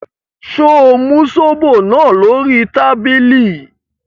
Ṣé o mu zobo náà lórí tábìlì?